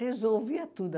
Resolvia tudo.